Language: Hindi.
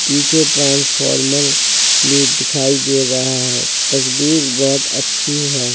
नीचे ट्रांसफार्मर भी दिखाई दे रहा है। तस्वीर बोहोत अच्छी है।